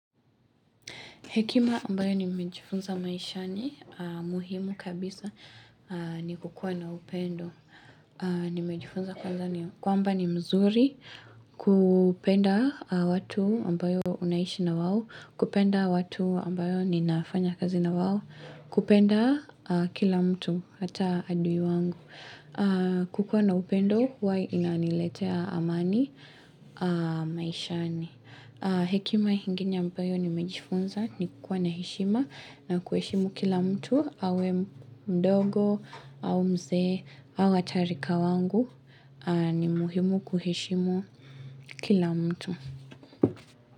Hekima ambayo nimejifunza maishani, muhimu kabisa ni kukua na upendo. Nimejifunza kwanza ni kwamba ni mzuri kupenda watu ambayo unaishi na wao, kupenda watu ambayo ninafanya kazi na wao, kupenda kila mtu, hata adui wangu. Kukua na upendo, huwa inaniletea amani maishani. Hekima ingine ambayo ni mejifunza ni kukua na heshima na kuheshimu kila mtu awe mdogo au mzee awe ata rika wangu ni muhimu kuheshimu kila mtu.